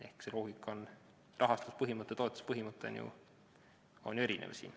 Ehk see loogika ja rahastuspõhimõte, toetuse põhimõte on siin ju erinev.